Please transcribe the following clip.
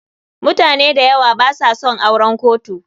mutane dayawa basa son auren kotu.